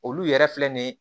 Olu yɛrɛ filɛ nin ye